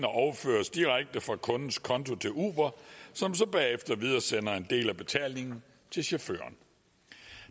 overføres direkte fra kundens konto til uber som så bagefter videresender en del af betalingen til chaufføren